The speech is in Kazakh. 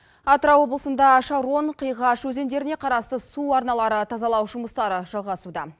атырау облысында шарон қиғаш өзендеріне қарасты су арналары тазалау жұмыстары жалғасуда